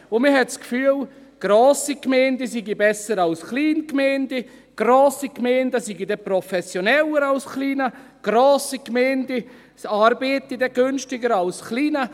Man hat das Gefühl, grosse Gemeinden seien besser als kleine Gemeinden, grosse Gemeinden seien professioneller als kleine und grosse Gemeinden arbeiteten dann günstiger als kleine.